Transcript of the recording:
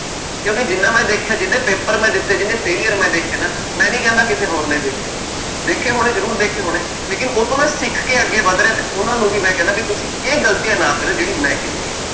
ਕਿਉਂਕਿ ਜਿੰਨਾ ਮੈਂ ਦੇਖਿਆ ਜਿੰਨੇ ਪੇਪਰ ਮੈਂ ਦਿੱਤੇ ਜਿੰਨੇ failure ਮੈਂ ਦੇਖੇ ਨਾ, ਮੈਂ ਨੀ ਕਹਿੰਦਾ ਕਿਸੇ ਹੋਰ ਨੇ ਦੇਖੇ, ਦੇਖੇ ਹੋਣੇ ਜ਼ਰੂਰ ਦੇਖੇ ਹੋਣੇ ਲੇਕਿੰਨ ਉਹ ਤੋਂ ਮੈਂ ਸਿੱਖ ਕੇ ਅੱਗੇ ਵੱਧ ਰਿਹਾ ਤੇ ਉਹਨਾਂ ਨੂੰ ਵੀ ਮੈਂ ਕਹਿਨਾ ਵੀ ਤੁਸੀਂ ਇਹ ਗ਼ਲਤੀਆਂ ਨਾ ਕਰਿਓ ਜਿਹੜੀ ਮੈਂ ਕੀਤੀ ਹੈ।